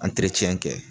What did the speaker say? kɛ